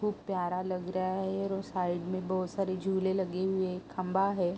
खूब प्यारा लग रहा है और साइड में बहुत सारे झूले लगे हुए खम्बा है।